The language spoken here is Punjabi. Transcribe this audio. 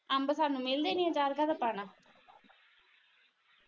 ਅੰਬ ਸਾਨੂੰ ਮਿਲਦੇ ਨਹੀਂ ਆ ਅਚਾਰ ਕਾ ਦਾ ਪਾਣਾ